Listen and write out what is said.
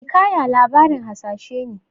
Hikaya labarin hasashe ne.